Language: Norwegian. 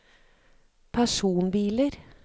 personbiler